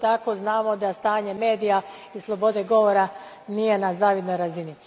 Isto tako znamo da stanje medija i slobode govora nije na zavidnoj razini.